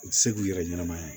U tɛ se k'u yɛrɛ ɲanama ye